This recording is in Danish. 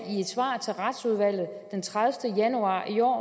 i et svar til retsudvalget den tredivete januar i år og